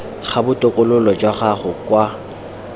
ga botokololo jwa gago kwa